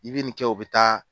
I bɛ nin kɛ o bɛ taa